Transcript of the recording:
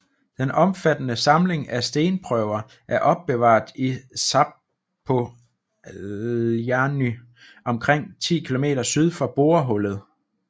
Den omfattende samling af stenprøver er opbevaret i Zapoljarny omkring 10 km syd for borehullet